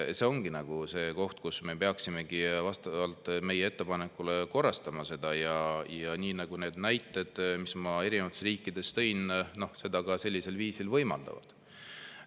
See ongi see koht, kus me peaksime vastavalt meie ettepanekule korrastama, nii nagu need näited, mis ma erinevate riikide kohta tõin, seda ka sellisel viisil võimaldavad.